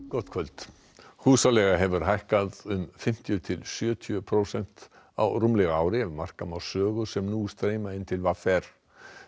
gott kvöld húsaleiga hefur hækkað um fimmtíu til sjötíu prósent á rúmlega ári ef marka má sögur sem nú streyma inn til v r